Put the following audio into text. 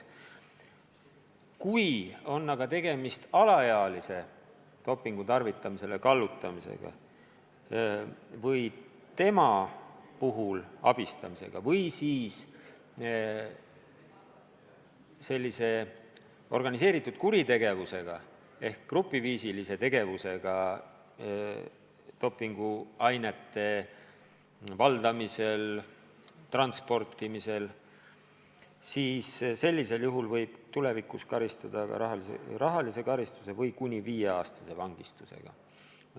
Kui aga on tegemist alaealise kallutamisega dopingut tarvitama või tema abistamisega selle juures või organiseeritud kuritegevusega ehk grupiviisilise tegevusega dopinguainete valdamisel või transportimisel, siis võib tulevikus karistada ka rahalise karistuse või kuni viieaastase vangistusega.